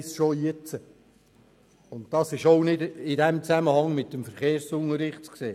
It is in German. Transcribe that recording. Das ist auch nicht im Zusammenhang mit dem Verkehrsunterricht zu sehen.